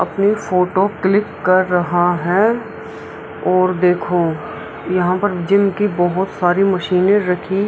अपनी photo click कर रहा है और देखो यहाँ पर जिम की बहोत सारी मशीनें रखी --